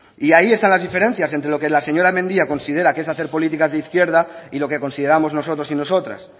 y ahí están las diferencias entre lo que la señora mendia considera que es hacer políticas de izquierda y lo que consideramos nosotros y nosotras